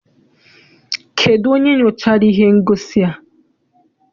Kedụ onye nyochara ihe ngosi a?